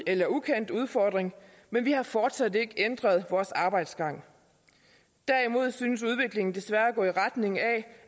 eller ukendt udfordring men vi har fortsat ikke ændret vores arbejdsgang derimod synes udviklingen desværre at gå i retning af